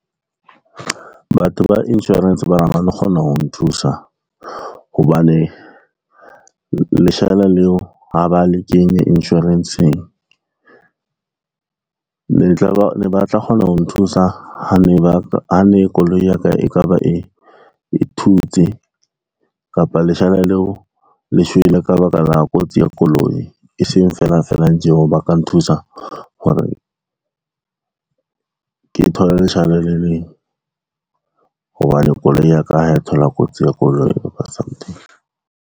Batho ba insurance baby re ha ba no kgona ho nthusa hobane, leshala leo ha ba le kenye insurance-ng, ne ba tla kgona ho nthusa ha ne koloi ya ka e ka ba e thutse kapa leshala leo le shwele ka baka la kotsi ya koloi, e seng felang felang tje hore ba ka nthusa hore ke thole leshala le leng, hobane koloi ya ka ha e thola kotsi ya koloi .